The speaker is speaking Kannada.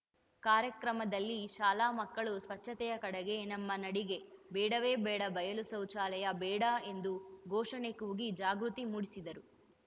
ಕಾರ್ಯಕ್ರಮದಲ್ಲಿ ಶಾಲಾ ಮಕ್ಕಳು ಸ್ವಚ್ಛತೆಯ ಕಡೆಗೆ ನಮ್ಮ ನಡಿಗೆ ಬೇಡವೇ ಬೇಡ ಬಯಲು ಶೌಚಾಲಯ ಬೇಡ ಎಂದು ಘೋಷಣೆ ಕೂಗಿ ಜಾಗೃತಿ ಮೂಡಿಸಿದರು